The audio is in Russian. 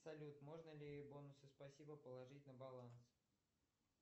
салют можно ли бонусы спасибо положить на баланс